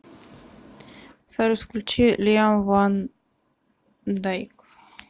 салют включи лиам ван дайк